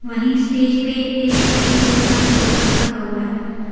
वहीं स्टेज पे एक सफेद रंग का सोफा रखा हुआ है।